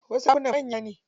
Wasu ɗakunan manya ne.